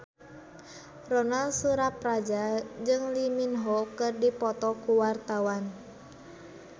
Ronal Surapradja jeung Lee Min Ho keur dipoto ku wartawan